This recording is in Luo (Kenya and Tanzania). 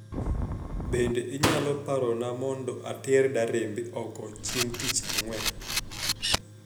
Bende inyalo parona mondo ater darembe oko chieng' tich ang'wen